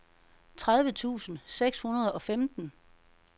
tredive tusind seks hundrede og femten